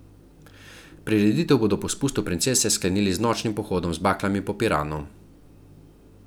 Prireditev bodo po spustu princese sklenili z nočnim pohodom z baklami po Piranu.